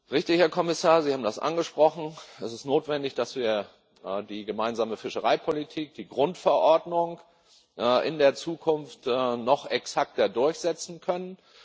Richtig, Herr Kommissar, Sie haben das angesprochen Es ist notwendig, dass wir die Gemeinsame Fischereipolitik, die Grundverordnung, in der Zukunft noch exakter durchsetzen können.